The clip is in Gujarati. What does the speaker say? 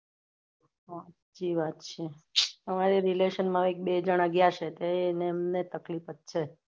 હાચી વાત છે અમારે relation માં એક બે જણા ગ્યાં છે તે એમને તકલીફ જ છે